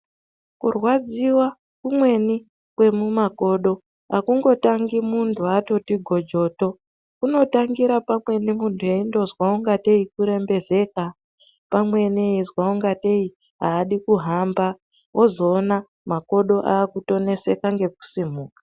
Kurwadziva kumweni kwemumakodo hakungotangi muntu atoti gojoto. Kunotange pamweni muntu eindozwa kungetee kurembezeka, pamweni eizwa kungetei haadi kuhamba ozoona makodo akutoneseka ngekusimuka.